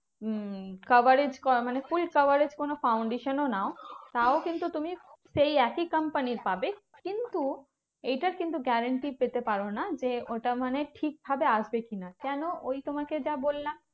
উম coverage কর মানে full coverage কোনো foundation ও নাও তাও কিন্তু তুমি সেই একই company র পাবে। কিন্তু এইটা কিন্তু guarantee পেতে পারো না যে ওটা মানে ঠিক ভাবে আসবে কি না? কেন? ওই তোমাকে যা বললাম।